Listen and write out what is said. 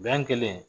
Gan kelen